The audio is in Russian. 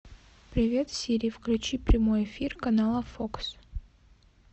привет сири включи прямой эфир канала фокс